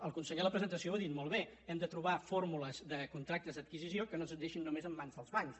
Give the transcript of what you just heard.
el conseller en la presentació ho ha dit molt bé hem de trobar fórmules de contractes d’adquisició que no ens deixin només en mans dels bancs